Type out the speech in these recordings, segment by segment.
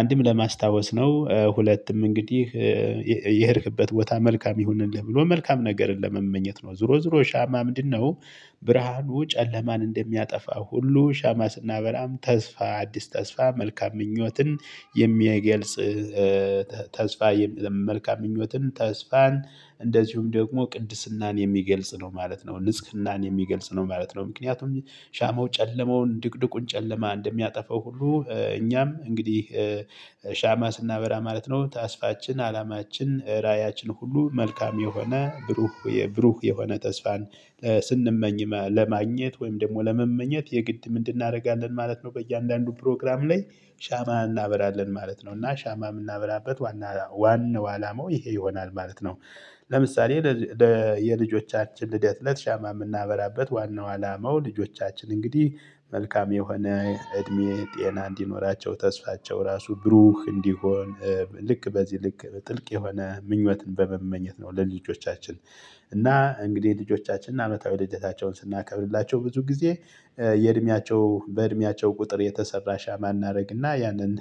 አንድም ለማስታወስ ነው ሁለትም እንግዲህ የሄድክበት ቦታ መልካም ይሁንልህ ብሎ መልካም ነገርን ለመመኘት ነው ዙሮ ዙሮ ሻማ ምንድነው? ብርሃኑ ጨለማን እንደሚያጠፋ ሁሉ ሻማ ስናበራም ተስፋ አዲስ ተስፋ መልካም ምኞትን የሚያገልጽ። ተስፋ መልካም ምኞትን ተስፋን እንደዚሁም ደግሞ ቅድስናን የሚገልጽ ነው ማለት ነው። ንጽህናን የሚገልጽ ነው ማለት ነው። ምክንያቱም ሻማው ጨለማውን ድቅድቁን ጨለማ እንደሚያጠፋው ሁሉ እኛም እንግዲህ ሻማ ስናበራ ማለት ነው ተስፋችን አላማችን ራዕያችን ሁሉ መልካም የሆነ ብሩህ የብሩህ የሆነ ተስፋን። ስንመኝ ለማግኘት ወይም ደግሞ ለመመኘት የግድ ምንድን እንድናደርጋለን ማለት ነው። በእያንዳንዱ ፕሮግራም ላይ ሻማ እናበራለን ማለት ነው እና ሻማ የምናበራበት ዋና ዋና አላማው ይሄ ይሆናል ማለት ነው። ለምሳሌ የልጆቻችን ልደት ለት ሻማ የምናበራበት ዋናው አላማው ልጆቻችን እንግዲህ መልካም የሆነ እድሜ ጤና እንዲኖራቸው ተስፋቸው ራሱ ብሩህ እንዲሆን። ልክ በዚህ ልክ ጥልቅ የሆነ ምኞትን በመመኘት ነው ለልጆቻችን። እና እንግዲህ ልጆቻችን አመታዊ ልደታቸውን ስናከብርላቸው ብዙ ጊዜ የእድሜያቸው በእድሜያቸው ቁጥር የተሰራ ሻማ እናደርግና ያንን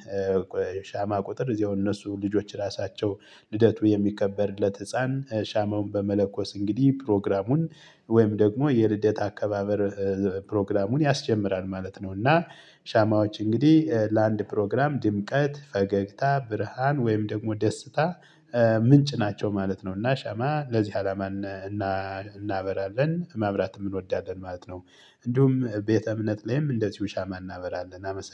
ሻማ ቁጥር እዚሁ እነሱ ልጆች ራሳቸው ልደቱ የሚከበርለት ህፃን ሻማውን በመለኮስ እንግዲህ ፕሮግራሙን ወይም ደግሞ የልደት አካባበር ፕሮግራሙን ያስጀምራል ማለት ነው። እና ሻማዎች እንግዲህ ለአንድ ፕሮግራም ድምቀት ፈገግታ ብርሃን ወይም ደግሞ ደስታ ምንጭ ናቸው ማለት ነው። እና ሻማ ለዚህ አላማን እናበራለን ማብራትም እንወዳለን ማለት ነው። እንዲሁም ቤተ እምነት ላይም እንደዚሁ ሻማ እናበራለን አመሰግናለው